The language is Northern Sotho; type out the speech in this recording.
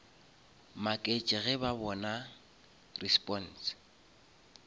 maketše ge ba bona response